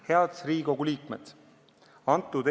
Head Riigikogu liikmed!